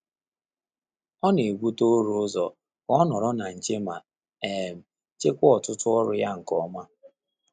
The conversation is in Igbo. Ọ́ nà-ébùté ụ́rà ụ́zọ́ kà ọ́ nọ́rọ́ ná nché mà um jíkwáá ọ́tụ́tụ́ ọ́rụ́ yá nké ọ́mà.